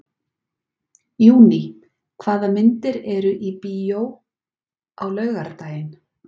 Júní, hvaða myndir eru í bíó á laugardaginn?